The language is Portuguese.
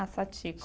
Ah, Satiko.